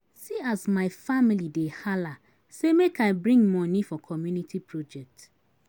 See as my family dey hala sey make I bring moni for community project.